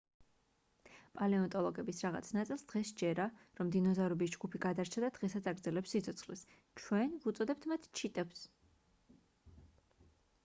პალეონტოლოგების რაღაც ნაწილს დღეს სჯერა რომ დინოზავრების ჯგუფი გადარჩა და დღესაც აგრძელებს სიცოცხლეს ჩვენ ვუწოდებთ მათ ჩიტებს